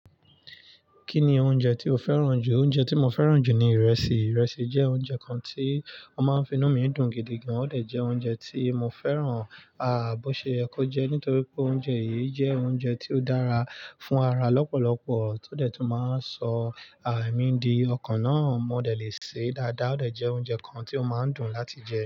Kí ni oúnjẹ tí o fẹ́ràn jù? Oúnjẹ tí mo fẹ́ràn jù ni ìrẹsì. Ìrẹsì jẹ́ oúnjẹ kan tí wọ́n máa ń fi inú mi dùn gidi gan. Ó de jẹ́ oúnjẹ tí mo fẹ́ràn, ah, bó ṣe yẹ kó jẹ ẹ́, nítorí pé oúnjẹ yìí jẹ́ oúnjẹ tí ó dára fún ara lọ́pọ̀lọpọ̀ tó dẹ̀ tún máa ń sọ àa mi di ọkàn náà mọ́ dẹ̀ lè ṣe dáadáa. Ó dẹ jẹ́ oúnjẹ kan tí ó máa ń dùn láti jẹ.